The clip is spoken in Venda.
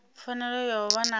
pfanelo ya u vha na